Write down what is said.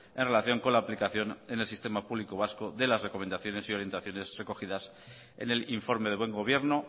en relación con la aplicación en el sistema público vascode las recomendaciones y orientaciones recogidas en el informe de buen gobierno